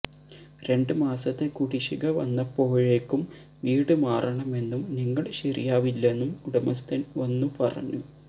രണ്ട് മാസത്തെ കുടിശിക വന്നപ്പോഴേക്കും വീട് മാറണമെന്നും നിങ്ങള് ശരിയാവില്ലെന്നും ഉടമസ്ഥന് വന്നു പറഞ്ഞു